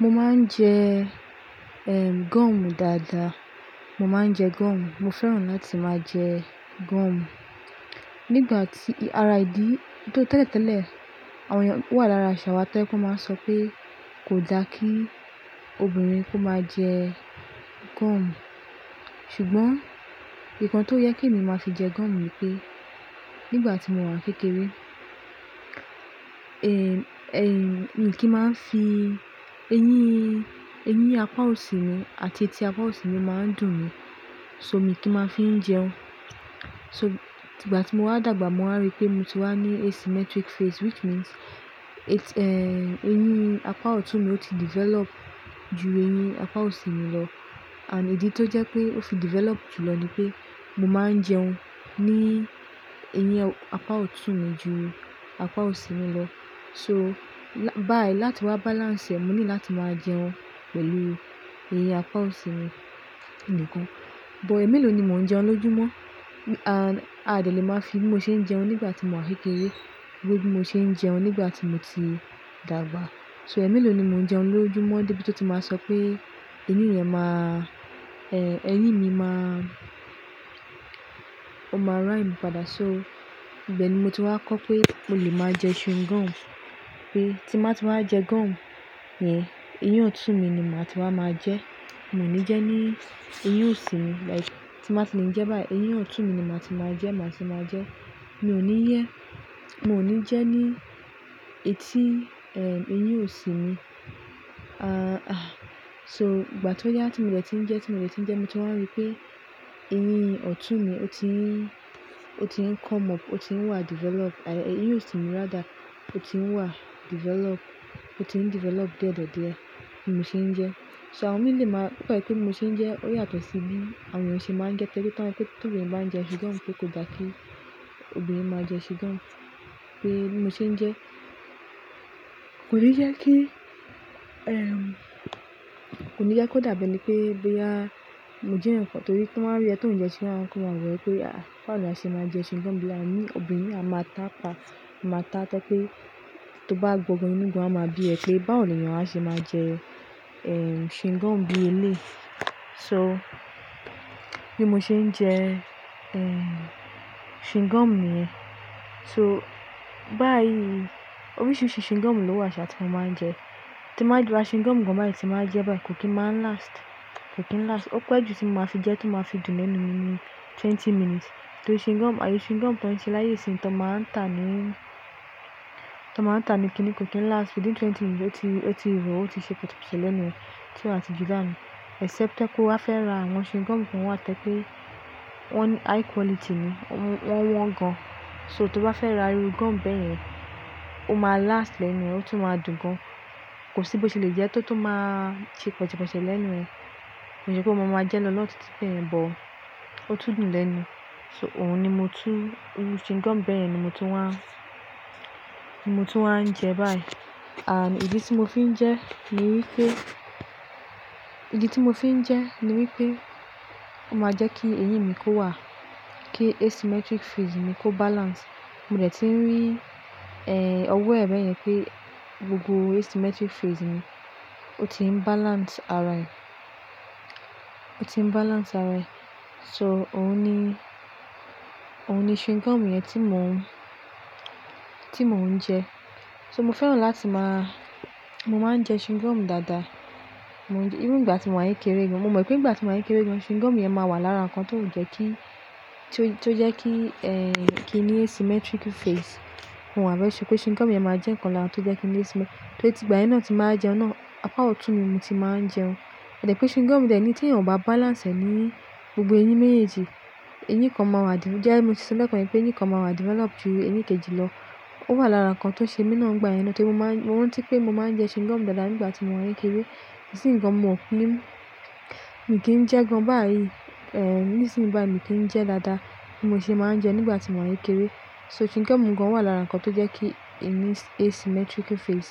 Mo máa ń jẹ, ehin, gomu dáadáa. Mo máa ń jẹ gum. Mo fẹ́ràn láti máa jẹ gum. Nígbà tí, irá ìdí-- nítò tẹ́lẹ̀tẹ́lẹ̀, àwọn èèyàn tó wà lára ìṣàwà tó ẹ kú máa ń sọ pé kò da kí obìnrin kó máa jẹ gum. Ṣùgbọ́n nǹkan tó yẹ kí èmi máa fi jẹ gum ni pé nígbà tí mò ń wà kékeré, èmi kí ń máa ń fi eyín, eyín apá òsì mi àti etí apá òsì mi máa ń dùn mí. So èmi kí ń máa fi ń jẹun. So nígbà tí mo wá dàgbà, mo wá rí pé mo ti wá ní asymmetric face which means eyín apá ọ̀tún mi ti develop ju eyín apá òsì mi lọ. And ìdí tó jẹ́ pé ó fi develop jùlọ ni pé mo máa ń jẹun ní eyín apá ọ̀tún mi ju apá òsì mi lọ. So báyìí láti wá balance èmi ní láti máa jẹun pẹ̀lú eyín apá òsì mi nìkan. But èmi lòní mò ń jẹun lójúmọ́. And a ò le máa fi bí mo ṣe ń jẹun nígbà tí mò ń wà kékeré pẹ̀lú bí mo ṣe ń jẹun nígbà tí mo ti dàgbà. So èmelò ní mò ń jẹun lójúmọ́ débi tí ó ti máa sọ pé eyín yẹn máa, eyín mi máa, ó máa rhyme padà. So ibẹ́ẹ̀ ni mo ti wá kọ́ pé mo lè máa jẹ chewing gum. Pé tí n báa ti wá jẹ gum yẹn, eyín ọ̀tún mi ni màá ti wá máa jẹ. Mò ní jẹ ní eyín òsì mi like tí màá ti lè jẹ́ báyìí, eyín ọ̀tún mi ni màá ti máa jẹ, màá ti máa jẹ. Mi ò ní yẹ́, mò ní jẹ ní etí, eyín òsì mi. So ìgbà tó yá tí mo dẹ̀ tí ń jẹ, tí mo dẹ̀ tí ń jẹ, mo ti wá rí pé eyín ọ̀tún mi ó ti ń, ó ti ń come up, ó ti ń wà develop. Àyè eyín òsì mi rather ó ti ń wà develop, ó ti ń develop diẹ́diẹ́ díẹ̀ bí mo ṣe ń jẹ. So àwọn miì lè máa-- ó ko yẹ pé mo ṣe ń jẹ oyàtọ̀sí bí àwọn èèyàn ṣe máa ń jẹ. Torí pe wọ́n n pe tí obìnrin bá ń jẹ chewing gum pé kò da kí obìnrin máa jẹ chewing gum. Pé bí mo ṣe ń jẹ kò ní yẹ kí, kò ní yẹ kó dàbí pé bíi a mo jẹ́ ǹkan. Torí tí wọ́n rí ẹ tó ń jẹ ṣe wọ́n á, kó máa wẹ pé "à báwo ni a ṣe máa jẹ chewing gum bíi à nì obìnrin, a máa ta pa. A máa ta." Toyẹ̀ pé tó bá gbogbo inú igun á máa bí ẹ pé báwo ni èèyàn á ṣe máa jẹ, chewing gum bí eléyi. So bí mo ṣe ń jẹ, chewing gum mi yẹn. So báyìí oríṣiríṣi chewing gum ló wà tí mo máa ń jẹ. Tí mo bá ju ra chewing gum kan báyìí tí màá jẹ báyìí kò kí ń máa last, kò kí ń last. Ó pẹ́ ju tí mo máa fi jẹ tó màá fi dùn lẹ́nu mi ní twenty minutes. Torí chewing gum, àyè chewing gum tọ́ǹṣe láye isin tí wọ́n máa ń tà ní, tí wọ́n máa ń tà ní kiní kò kí ń last. Within twenty minutes ó ti, ó ti rò ó ti ṣe pọ̀tipọ̀sì lẹ́nu mi tí mo bá ti jù án. Except pé kó wá fẹ́ ra àwọn chewing gum kan wá toyẹ̀ pé wọ́n ní high quality ni. Wọ́n wọ́n gan. So tó bá fẹ́ ra irú gum bẹ́ẹ̀ yẹn, ó máa last lẹ́nu ẹ, ó tún máa dùn gan. Kò sí bó ṣe lè jẹẹ́ tótó máa ṣe pọ̀tipọ̀sì lẹ́nu ẹ. Ko n se pé mo máa jẹ lọ́lọ́ títí béyen but ó tún dùn lẹ́nu. So òun ni mo túú, irú chewing gum bẹ́ẹ̀ yẹn ni mo tú ń wá, ni mo tú ń wá ń jẹ báyìí. And ìdí tí mo fi ń jẹ ni wípé, ìdí tí mo fi ń jẹ ni wípé ó máa jẹ́ kí eyín mi kó wà, kí asymmetric face mi kó balance. Mo dẹ̀ ti ń rí, ọwọ́ ẹ̀ bẹ́ẹ̀ yẹn pé gbogbo asymmetric face mi ó ti ń balance ara ẹ̀, ó ti ń balance ara ẹ̀. So òun ni, òun ni chewing gum yẹn tí mò ń, tí mò ń jẹ. So mo fẹ́ràn láti máa-- mo máa ń jẹ chewing gum dáadáa. Mo ń jẹ, irú ìgbà tí mò ń wà kékeré gan, mo mọ̀ pé ìgbà tí mò ń wà kékeré gan chewing gum yẹn máa wà lára nǹkan tó jẹ́ kí, tó jẹ́ kí, kí i ní asymmetric face. Mo wá very ṣúre pé chewing gum yẹn máa jẹ́ nǹkan kan tó jẹ́ kí n ní asym-- torí ti ìgbà yẹn náà tí màá jẹun náà, apá ọ̀tún ni mo ti máa ń jẹun. Ẹ̀dẹ̀ pé chewing gum jẹ̀ ní tí ẹ ò bá balance ẹ ní gbogbo eyín méjèèjì, eyín kan máa wà di-- já tó ṣe bẹ́ẹ̀ kọ̀ní pé eyín kan máa wà develop ju eyín kejì lọ. Ó wà lára nǹkan tó ṣe mi náà nígbà yẹn náà tí mo máa ń, mo rántí pé mo máa ń jẹ chewing gum dáadáa nígbà tí mò ń wà kékeré. Ísin gan mo ki n, mi kì í jẹ́ gan báyìí. Níṣín báyi mi kì í jẹ́ dáadáa bí mo ṣe máa ń jẹ nígbà tí mò ń wà kékeré. So chewing gum gan wà lára nǹkan tó jẹ́ kí èmi asymmetric face.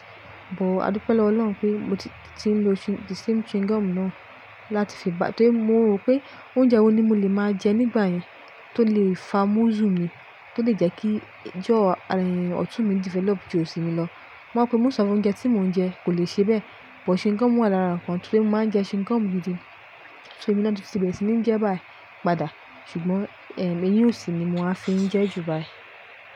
But a dúpẹ́ lọ́wo Ọlọ́run pé mo ti, ti ń lo che-- the same chewing gum náà láti fi ba-- torí mo rò pé oúnjẹ wo ni mo lè máa jẹ nígbà yẹn tó lè fa múscle mi, tó lè jẹ́ kí jaw ọ̀tún mi develop ju òsì mi lọ. Mo mọ̀ pé most of oúnjẹ tí mò ń jẹ kò lè ṣe bẹ́ẹ̀. But chewing gum wà lára nǹkan torí mo máa ń jẹ chewing gum gidi. So èmi náà ti ṣì ti ń jẹ́ báyìí padà. Ṣùgbọ́n eyín òsì ni mò á fi ń jẹ́ jù báyìí.